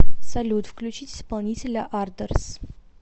салют включить исполнителя ардорс